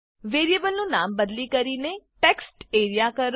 વેરીએબલનું નામ બદલી કરીને ટેક્સ્ટરિયા ટેક્સ્ટએરીયા કરો